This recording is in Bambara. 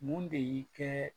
Mun de y'i kɛ